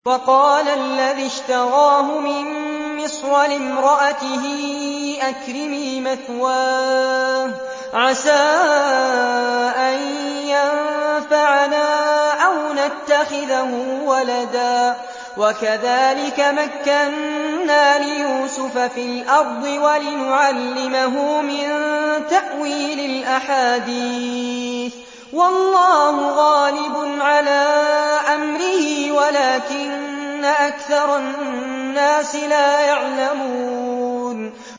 وَقَالَ الَّذِي اشْتَرَاهُ مِن مِّصْرَ لِامْرَأَتِهِ أَكْرِمِي مَثْوَاهُ عَسَىٰ أَن يَنفَعَنَا أَوْ نَتَّخِذَهُ وَلَدًا ۚ وَكَذَٰلِكَ مَكَّنَّا لِيُوسُفَ فِي الْأَرْضِ وَلِنُعَلِّمَهُ مِن تَأْوِيلِ الْأَحَادِيثِ ۚ وَاللَّهُ غَالِبٌ عَلَىٰ أَمْرِهِ وَلَٰكِنَّ أَكْثَرَ النَّاسِ لَا يَعْلَمُونَ